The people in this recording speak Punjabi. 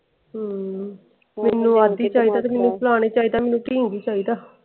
ਹਮ ਮੇਨੂ ਅੱਧ ਚਾਹੀਦਾ ਤੇ ਮੇਨੂ ਫਲਾਣਾ ਚਾਹੀਦਾ ਮੇਨੂ ਟੀਂਗਰੀ ਚਾਹੀਦਾ।